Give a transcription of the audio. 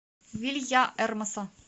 вильяэрмоса